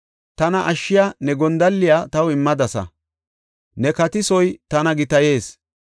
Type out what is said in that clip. Tana ashshiya ne gondalliya taw immadasa; ne katisoy tana gitayees.